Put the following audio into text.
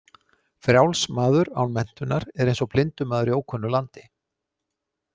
„Frjáls“ maður án menntunar er eins og blindur maður í ókunnu landi.